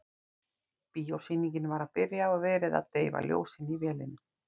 Bíósýningin var að byrja og verið að deyfa ljósin í vélinni.